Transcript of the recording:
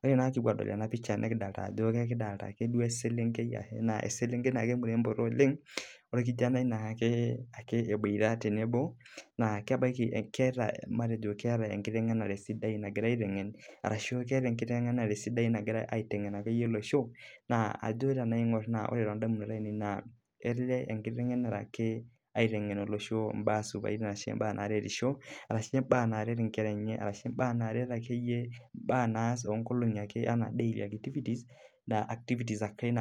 Ore tenapisha nikidoolta eselenkei murembo ooleng eboitare orkijanai naa keeta enkitengenare sidai nagira aitengenisho imbaa sidain naaretisho neret olosho ata toonkolongi naaponu